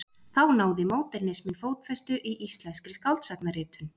Þá náði módernisminn fótfestu í íslenskri skáldsagnaritun.